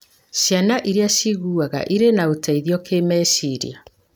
Ciana iria ciĩiguaga irĩ na ũteithio kĩmeciria